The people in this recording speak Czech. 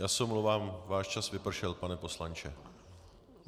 Já se omlouvám, váš čas vypršel, pane poslanče.